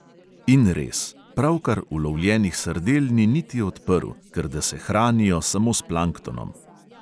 In res, pravkar ulovljenih sardel ni niti odprl, ker da se hranijo samo s planktonom.